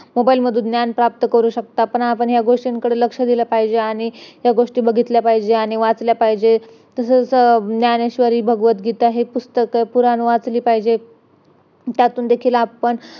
mobile मधून आपण ज्ञान प्राप्त करू शकता पण आपण या गोष्टीकडे लक्ष दिल पाहिजे आणि या गोष्टी बघितल्या पाहिजेत आणि वाचल्या पाहिजे तसंच ज्ञानेश्वरी भगवद गीता हे पुस्तक पुराण वाचली पाहिजेत त्यातून देखील आपण